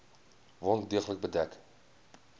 wond deeglik bedek